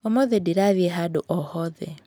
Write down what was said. Ũmũthĩ ndirathiĩ handũ o hothe.